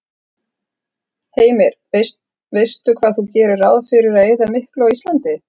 Heimir: Veistu hvað þú gerir ráð fyrir að eyða miklu á Íslandi?